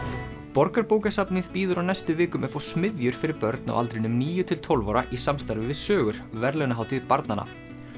Borgarbókasafnið býður á næstu vikum upp á smiðjur fyrir börn á aldrinum níu til tólf ára í samstarfi við sögur verðlaunahátíð barnanna